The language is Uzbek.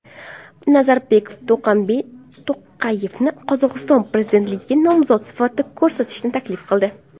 Nazarboyev To‘qayevni Qozog‘iston prezidentligiga nomzod sifatida ko‘rsatishni taklif qildi.